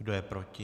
Kdo je proti?